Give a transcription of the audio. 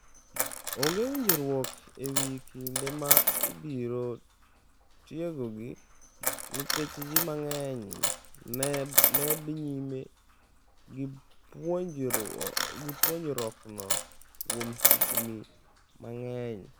Onge winjruok e wi kinde ma ibiro tiekogo, nikech ji mang’eny ne dhi nyime gi puonjruokno kuom higni mang’eny.